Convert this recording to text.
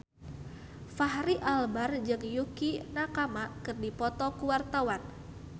Fachri Albar jeung Yukie Nakama keur dipoto ku wartawan